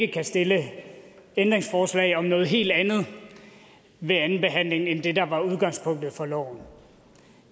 kan stille ændringsforslag om noget helt andet end det der er udgangspunktet for loven